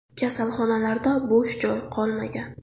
Kasalxonalarda bosh joy qolmagan.